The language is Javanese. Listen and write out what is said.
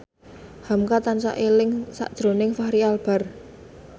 hamka tansah eling sakjroning Fachri Albar